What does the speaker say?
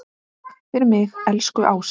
Takk fyrir mig, elsku Ása.